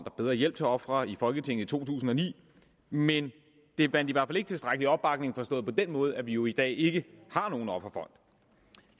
og bedre hjælp til ofrene i folketinget i to tusind og ni men det vandt i hvert fald ikke tilstrækkelig opbakning forstået på den måde at vi jo i dag ikke har nogen offerfond